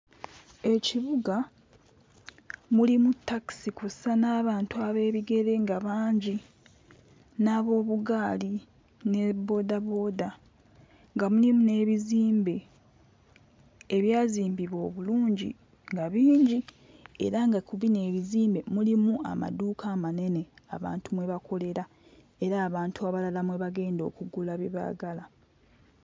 Ekibuga mulimu takisi kw'ossa n'abantu ab'ebigere nga bangi n'ab'obugaali ne bboodabooda nga mulimu n'ebizimbe ebyazimbibwa obulungi nga bingi era nga ku bino ebizimbe mulimu amaduuka amanene abantu mwe bakolera era abantu abalala mwe bagenda okugula bye baagala.